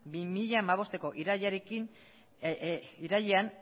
bi mila hamabostko irailean